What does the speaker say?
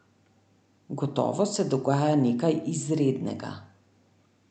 Gotovo se dogaja nekaj izrednega.